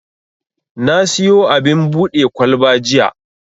Na siyo abin buɗe kwalba jiya.